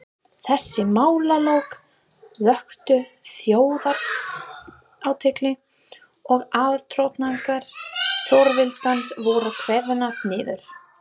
Þessi málalok vöktu þjóðarathygli, og aðdróttanir Þjóðviljans voru kveðnar niður.